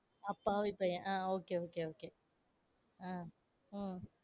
அப்பாவி பையன். Ah okay okay okay ah உம்